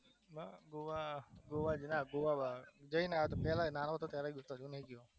ગોવા હા ગોવા ના બાકી જઈને આવ્યો તો પેલા નાનો હતો ત્યારે ગયો તો